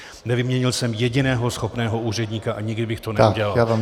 Nevyměnil jsem jediného schopného úředníka a nikdy bych to neudělal.